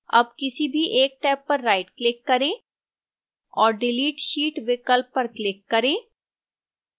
अब किसी भी एक टैब पर rightclick करें और delete sheet विकल्प पर click करें